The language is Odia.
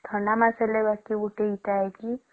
ଥଣ୍ଡା ମାସ ରେ ଗୋଟେ ଅଛି ଏଟା କି